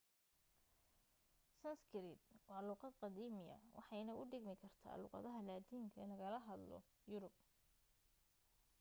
sanskrit waa luuqad qadiiimi waxayna u dhigmi kartaa luuqadda laatinka ee lagaga hadlo yurub